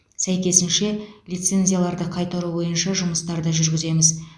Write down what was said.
сәйкесінше лицензияларды қайтару бойынша жұмыстарды жүргіземіз